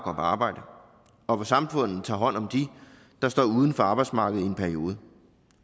arbejde og at samfundet tager hånd om dem der står uden for arbejdsmarkedet i en periode